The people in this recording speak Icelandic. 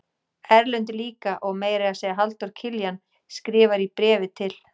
Erlendur líka og meira að segja Halldór Kiljan skrifar í bréfi til